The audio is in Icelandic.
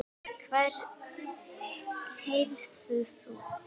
Heyrðu þú!